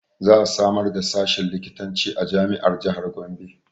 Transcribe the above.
Za a samar da sashin likitanci a jami'ar jahar Gombe